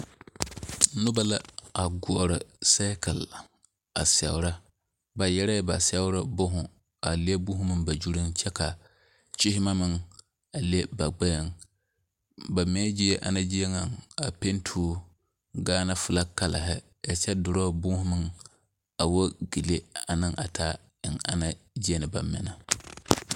Noba la goɔri sɛɛkili are a sɛoro ba yɛrɛɛ ba seɛbo boho a leŋ booho meŋ ba gyuŋ kyɛ ka kyiimɛ meŋ be ba gbɛɛŋ ba mɛɛ gie a panti o Gaana filag Kala a kyɛ dorɔɔ boma meŋ awoo gele a ne a taa eŋ ana gyea na ba naŋ mɛ.